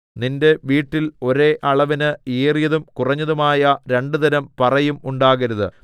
നിന്റെ വീട്ടിൽ ഒരേ അളവിന് ഏറിയതും കുറഞ്ഞതുമായ രണ്ടുതരം പറയും ഉണ്ടാകരുത്